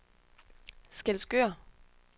Skælskør